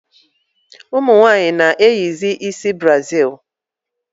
Ụmụnwanyi na-eyizi ịsị brazil